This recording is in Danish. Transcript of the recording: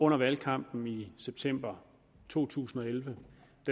under valgkampen i september to tusind og elleve